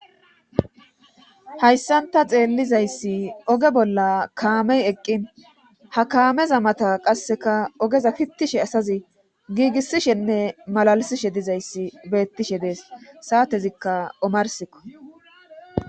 Hayssanta xeellizayssi oge bolla kaamey eqqin ha kaameza mata qasseka ogeza pittishe asazi giigisishenne malalisishe dizayssi beettishe dees saatezikka omarsikko